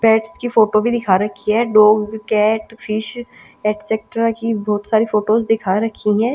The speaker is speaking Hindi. पेट्स की फोटो भी दिखा रखी है डॉग कैट फिश एटसेक्ट्रा की बहुत सारी फोटोस दिखा रखी है--